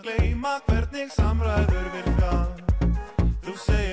að gleyma hvernig samræður virka þú segir